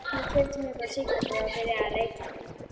Ég keypti mér bara sígarettur og byrjaði að reykja.